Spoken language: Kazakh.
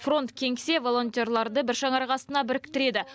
фронт кеңсе волонтерларды бір шаңырақ астына біріктіреді